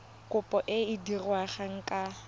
kopo e e diragadiwa ka